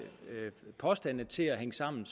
påstande til at hænge sammen